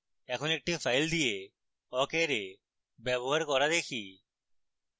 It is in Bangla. এখন একটি file দিয়ে awk array ব্যবহার করা দেখি